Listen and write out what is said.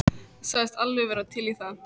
Sagðist alveg vera til í það.